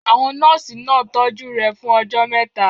Àwọn nọ́ọ̀sì náà tọ́jú rẹ̀ fún ọjọ́ mẹ́ta.